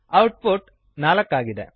output 4 ಆಗಿದೆ